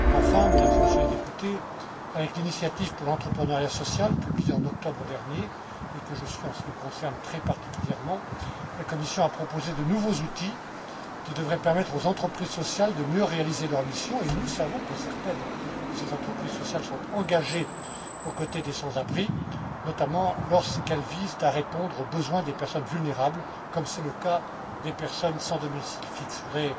Enfin, Mesdames et Messieurs les députés, avec l'initiative pour l'entrepreneuriat social, publiée en octobre dernier, et que je suis, en ce qui me concerne, très particulièrement, la Commission a proposé de nouveaux outils qui devraient permettre aux entreprises sociales de mieux réaliser leur mission et nous savons que certaines de ces entreprises sociales sont engagées aux côtés des sans abris, notamment lorsqu'elles visent à répondre aux besoins des personnes vulnérables comme c'est le cas des personnes sans domicile fixe. Je voudrais